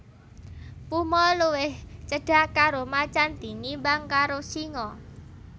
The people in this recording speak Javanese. Puma luwih cedhak karo macan tinimbang karo singa